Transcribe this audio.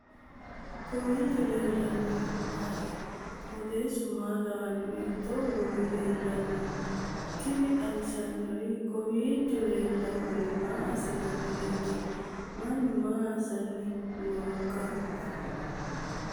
kowiicho leellannori maati ? qooxeessu maa lawaanno ? hiitoo kuuli leellanno ? tini xawissannori kowiicho lellannori maa asssinanniretti mannu maa asanni nooikka